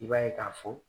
I b'a ye k'a fɔ